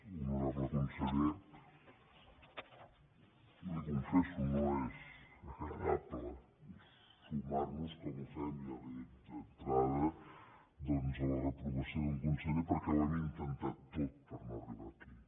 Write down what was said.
honorable conseller li ho confesso no és agradable sumar nos com ho fem ja li ho dic d’entrada doncs a la reprovació d’un conseller perquè ho hem intentat tot per no arribar aquí